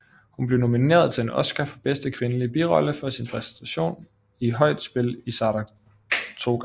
Hun blev nomineret til en Oscar for bedste kvindelige birolle for sin præstation i Højt spil i Saratoga